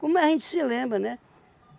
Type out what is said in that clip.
Como a gente se lembra, né?